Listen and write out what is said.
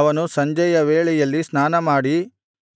ಅವನು ಸಂಜೆಯ ವೇಳೆಯಲ್ಲಿ ಸ್ನಾನಮಾಡಿ